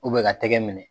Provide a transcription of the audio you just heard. ka tɛgɛ minɛ